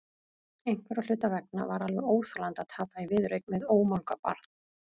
Einhverra hluta vegna var alveg óþolandi að tapa í viðureign við ómálga barn.